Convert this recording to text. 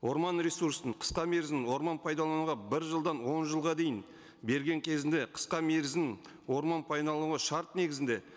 орман ресурсын қысқа мерзім орман пайдалануға бір жылдан он жылға дейін берген кезінде қысқа мерзім орман шарт негізінде